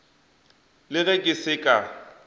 le ge ke se ka